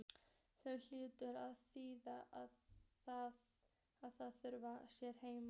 Sem hlýtur að þýða að þau séu heima.